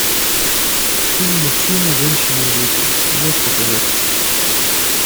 фильм мужчины женщины и дети ты можешь показать